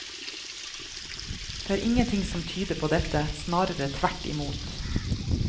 Det er ingenting som tyder på dette, snarere tvert imot.